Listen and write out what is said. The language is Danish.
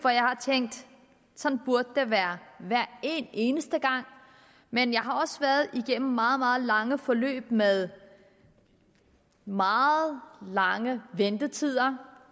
sådan burde det være hver eneste gang men jeg har også været igennem meget meget lange forløb forløb med meget lange ventetider